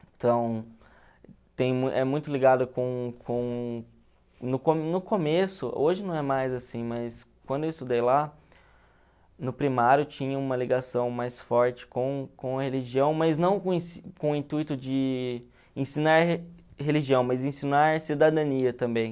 Então, é muito ligado com com... No co no começo, hoje não é mais assim, mas quando eu estudei lá, no primário tinha uma ligação mais forte com com a religião, mas não com com o intuito de ensinar religião, mas ensinar cidadania também.